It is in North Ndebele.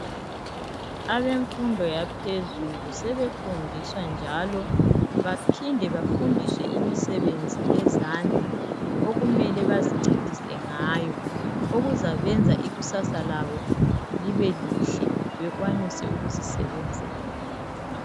Abemfundo yaphezulu, sebefundiswa njalo baphinde bafundiswe imisebenzi yezandla okumele bazincedise ngayo okuzabenza ikusasa labo libe lihle, bekwanise ukuzisebenzela.